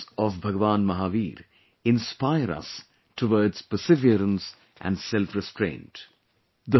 The messages of Bhagwan Mahavir inspire us towards perseverance and selfrestraint